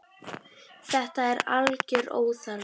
Þetta er algjör óþarfi.